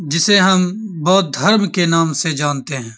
जिसे हम बौद्ध धर्म के नाम से जानते हैं।